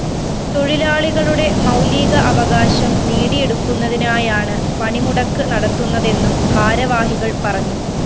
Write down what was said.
തൊഴിലാളികളുടെ മൗലീക അവകാശം നേടിയെടുക്കുന്നതിനായാണ് പണിമുടക്ക് നടത്തുന്നതെന്നും ഭാരവാഹികള്‍ പറഞ്ഞു